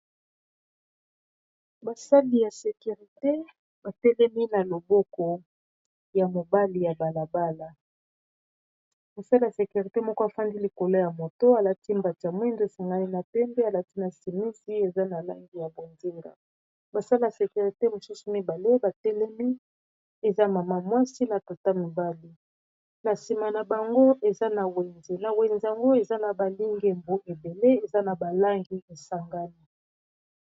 Basali ya securite batelemi na loboko ya mobali ya balabala. Mosali ya securite moko afandi likolo ya moto alati mbatya mwindo esangani na pembe, alati na simisi eza na langi ya bonzinga. Basali ya sekurite mosusu mibale batelemi eza mama mwasi na tata mibali, na nsima na bango eawna wenze yango eza na balingembu ebele eza na balangi esangami.